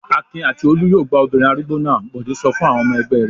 "Akin àti Olú yóò gbá obìnrin arúgbó náà!" Bọ̀dé sọ fún àwọn ọmọ ẹgbẹ́ rẹ̀.